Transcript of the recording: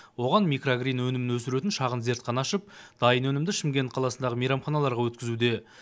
оған микрогрин өнімін өсіретін шағын зертхана ашып дайын өнімді шымкент қаласындағы мейрамханаларға өткізуде